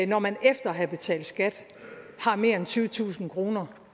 når man efter at have betalt skat har mere end tyvetusind kroner